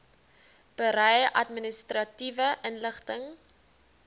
berei administratiewe inligting